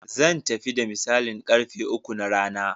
Zan tafi da misalin ƙarfe uku na rana.